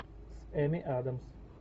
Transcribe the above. с эми адамс